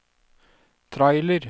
trailer